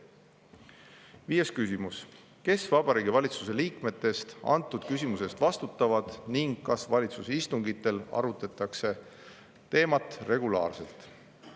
Viies küsimus: "Kes Vabariigi Valitsuse liikmetest antud küsimuse eest vastutavad ning kas valitsuse istungitel arutatakse teemat regulaarselt?